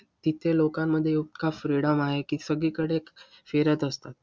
तिथे लोकांमध्ये इतका freedom आहे की, सगळीकडे फिरत असतात.